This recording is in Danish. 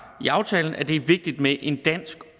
i aftalen er det er vigtigt med en dansk